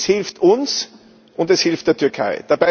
Es hilft uns, und es hilft der Türkei.